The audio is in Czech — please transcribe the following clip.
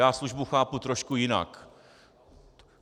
Já službu chápu trošku jinak.